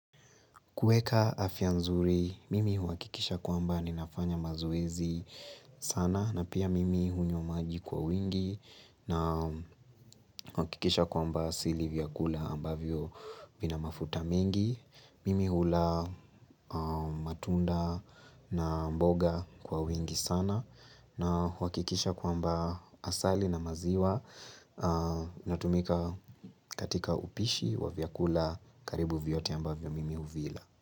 Kueka afya nzuri, mimi huhakikisha kwamba ninafanya mazoezi sana na pia mimi hunywa maji kwa wingi na kuhakikisha kwamba sili vyakula ambavyo vina mafuta mingi. Mimi hula matunda na mboga kwa wingi sana na huhakikisha kwamba asali na maziwa natumika katika upishi wa vyakula karibu vyote ambavyo mimi huvila.